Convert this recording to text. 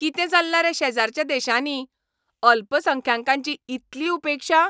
कितें चल्लां रे शेजराच्या देशांनी? अल्पसंख्यांकांची इतली उपेक्षा?